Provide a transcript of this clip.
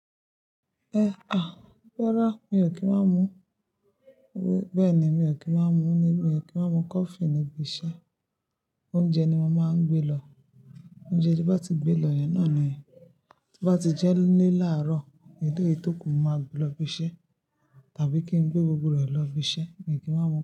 Ẹ à, rárá mi ò kí ń má mú, bẹ́ẹ̀ ni, mi ò kí ń má mú, mi ò kí ń má mú coffee níbi iṣẹ́. Oúnjẹ ni mo máa ń gbé lọ. Oúnjẹ tí n bá ti gbé lọ yẹn náà ni, tí bá ti jẹ́ níle làárọ̀, èlèyìí tó kù mo máa gbé lọ ibiṣẹ́, tàbí kí n gbé gbogbo rẹ̀ lọ ibiṣẹ́, mi ò kí má mu.